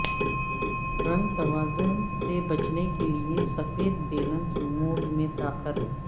رنگ توازن سے بچنے کے لئے سفید بیلنس موڈ میں طاقت